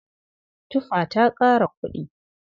Tufa ta ƙara kuɗi.